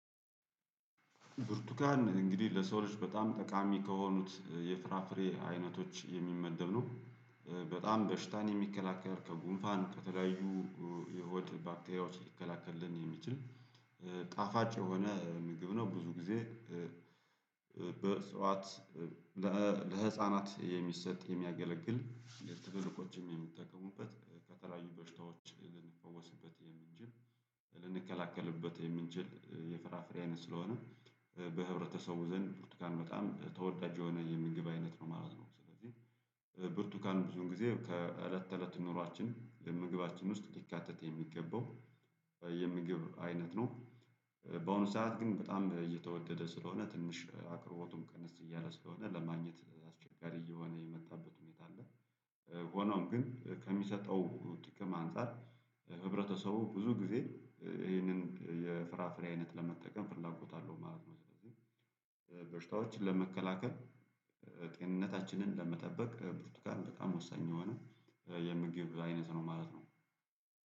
ብርቱካን እንግዲህ ለሰው ልጅ በጣም ጠቃሚ ከሆኑት የፍራፍሬ አይነቶች የሚመደብ ነው። በጣም በሽታን የሚከላከል ከጉንፋን ከተለያዩ የሆድ ባክቴሪያዎች ሊከላከልልን የሚችል ጣፋጭ የሆነ ምግብ ነው። ብዙ ጊዜ ጠዋት ለህፃናት የሚሰጥ የሚያገለግል። ትልቅ ቆችም የሚጠቀሙበት ከተለያዩ በሽታዎች ልንፈውስበት የምንችል ልንከላከልበት የምንችል የፍራፍሬ አይነት ስለሆነ በህብረተሰቡ ዘንድ ብርቱካን በጣም ተወዳጅ የሆነ የምንገባ አይነት ነው ማለት ነው። ስለዚህ ብርቱካን ብዙን ጊዜ ከእለት ተእለት ኑሯችን ለምግባችን ውስጥ ሊካተት የሚገባው የምግብ አይነት ነው። በአሁኑ ሰዓት ግን በጣም እየተወደደ ስለሆነ ትንሽ አቅሮቦቱም ቅንስ እያለ ስለሆነ ለማግኘት አስቸጋሪ እየሆነ የመጣበት ሁኔታ አለ። ሆኖም ግን ከሚሰጠው ጥቅም አንፃር ህብረተሰቡ ብዙ ጊዜ ይህንን የፍራፍሬ አይነት ለመጠቀም ፍላጎት አለው ማለት ነው። ስለዚህ በሽታዎች ለመከላከል ጤንነታችንን ለመጠበቅ ብርቱካን በጣም ወሳኝ የሆነ የምግብ አይነት ነው ማለት ነው